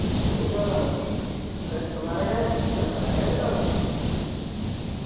പോണുണ്ട് പറഞ്ഞാലോ മ്മളെ ചെക്കമ്മാരൊക്കെ എന്നെ plan ക്കെ ഇട്ടന്നു